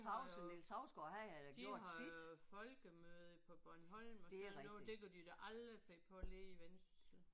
De har jo de har jo folkemøde på Bornholm og sådan noget. Det kunne de da aldrig finde på nede i Vendsyssel